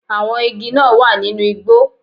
Àwọn igi náà wà nínú igbó